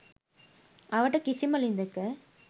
අවට කිසිම ළිඳක